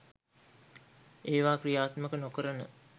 ඒවා ක්‍රියාත්මක නොකරන